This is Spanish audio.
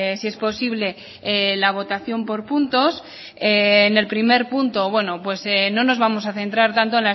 si es posible la votación por puntos en el primer punto bueno pues no nos vamos a centra tanto